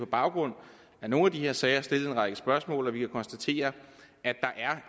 baggrund af nogle af de her sager stillet en række spørgsmål at vi kan konstatere at der